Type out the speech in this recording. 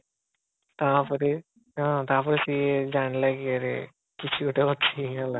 ହଁ ସେଠୁ ହଁ ତାପରେ ସିଏ ଜାଣିଲା କି ଆରେ କିଛି ଗୋଟେ ଅଛି ହେଲା